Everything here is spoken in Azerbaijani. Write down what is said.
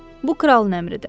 Bu kralın əmridir.